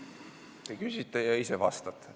Te ise küsite ja ise vastate.